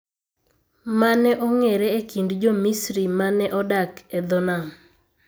Mane ong'ere e kind Jo-Misri ma ne odak e dho nam.